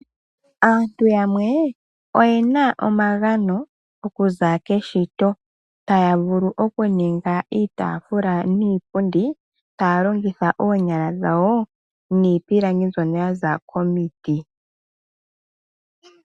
Aantu yamwe oye na omagano okuza keshito, taya vulu oku ninga iitaafula niipundi taya longitha oonyala dhawo niipilangi mbyono yaza komiti.